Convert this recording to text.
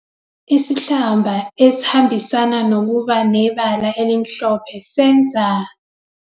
Isihlamba esihambisana nokuba nebala elimhlophe senza.